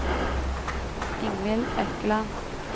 Ingvill Økland